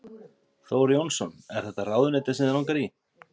Þór Jónsson: Er þetta ráðuneyti sem þig langaði í?